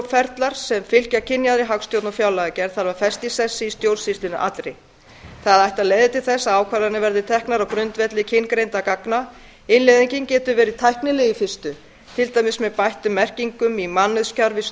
ferlar sem fylgja kynjaðri hagstjórn og fjárlagagerð þarf að festa í sessi í stjórnsýslunni allri það ætti að leiða til þess að ákvarðanir verði teknar á grundvelli kyngreindra gagna innleiðingin getur verið tæknileg í fyrstu til dæmis með bættum merkingum í mannauðskerfi